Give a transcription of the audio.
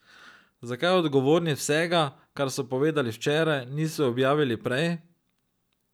Zakaj odgovorni vsega, kar so povedali včeraj, niso objavili prej?